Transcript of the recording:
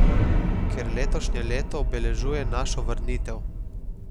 Ker letošnje leto obeležuje našo vrnitev.